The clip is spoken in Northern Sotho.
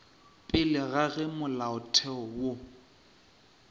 pele ga ge molaotheo wo